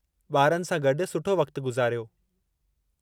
ॿारनि सां गॾु सुठो वक़्तु गुज़ारियो।